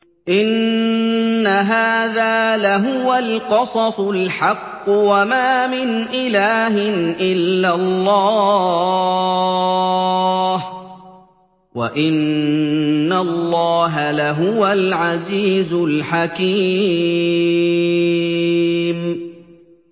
إِنَّ هَٰذَا لَهُوَ الْقَصَصُ الْحَقُّ ۚ وَمَا مِنْ إِلَٰهٍ إِلَّا اللَّهُ ۚ وَإِنَّ اللَّهَ لَهُوَ الْعَزِيزُ الْحَكِيمُ